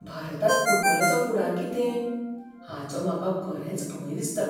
भारतांत फुटबॉलाचो फुडार कितें, हाचो म्हाका खरेच भंय दिसता